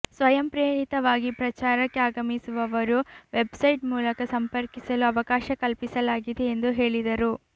ಸ್ವಯಂಪ್ರೇರಿತವಾಗಿ ಪ್ರಚಾರಕ್ಕೆ ಆಗಮಿಸುವವರೂ ವೆಬ್ಸೈಟ್ ಮೂಲಕ ಸಂಪರ್ಕಿಸಲು ಅವಕಾಶ ಕಲ್ಪಿಸಲಾಗಿದೆ ಎಂದು ಹೇಳಿದರು